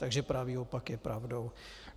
Takže pravý opak je pravdou.